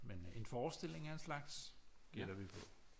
Men en forestilling af en slags gætter vi på